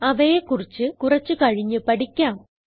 അവയെ കുറിച്ച് കുറിച്ച് കഴിഞ്ഞ് പഠിക്കാം